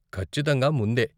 ఖచ్చితంగా ముందే.